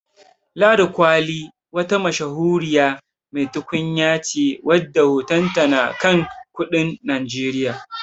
Ladi kwali wata mashahuri mai tukunya ce wadda hotonta na kan kudin Najeriya.